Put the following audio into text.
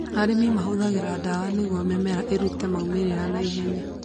Arĩmi mahũthĩraga dawa nĩguo mĩmera ĩrute maumĩrĩra na ihenya.